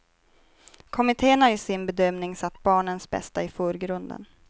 Kommitten har i sin bedömning satt barnens bästa i förgrunden.